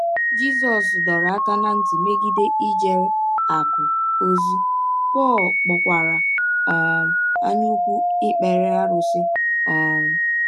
Jisọs dọrọ aka ná ntị megide ijere “ akụ̀ ” ozi, Pọl kpọkwara um anyaụkwu ikpere arụsị. um